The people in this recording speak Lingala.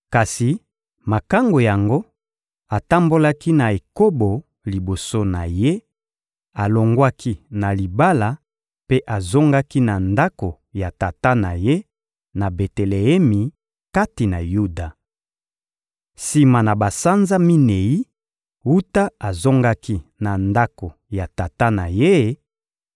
Kasi makangu yango atambolaki na ekobo liboso na ye, alongwaki na libala mpe azongaki na ndako ya tata na ye, na Beteleemi kati na Yuda. Sima na basanza minei wuta azongaki na ndako ya tata na ye,